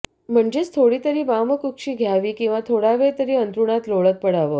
म्हणजेच थोडीतरी वामकुक्षी घ्यावी किंवा थोडावेळ तरी अंथरुणात लोळत पडावं